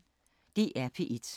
DR P1